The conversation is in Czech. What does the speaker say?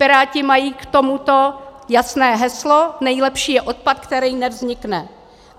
Piráti mají k tomuto jasné heslo: "Nejlepší je odpad, který nevznikne."